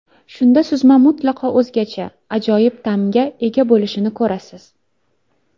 Shunda suzma mutlaqo o‘zgacha, ajoyib ta’mga ega bo‘lishini ko‘rasiz.